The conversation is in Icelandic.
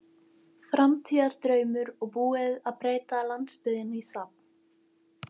Framtíðardraumur og búið að breyta landsbyggðinni í safn.